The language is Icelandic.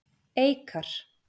Eikar